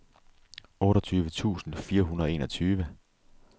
otteogtyve tusind fire hundrede og enogtyve